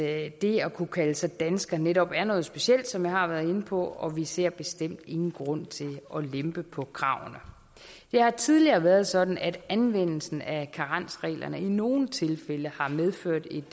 at det at kunne kalde sig dansker netop er noget specielt som jeg har været inde på og vi ser bestemt ingen grund til at lempe på kravene det har tidligere været sådan at anvendelsen af karensreglerne i nogle tilfælde har medført et